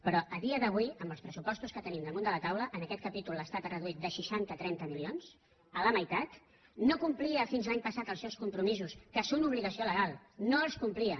però a dia d’avui amb els pressupostos que tenim damunt de la taula en aquest capítol l’estat ha reduït de seixanta a trenta milions a la meitat no complia fins l’any passat els seus compromisos que són obligació legal no els complir